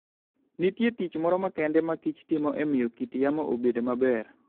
Nitie tich moro makende makich timo e miyo kit yamo obed maber.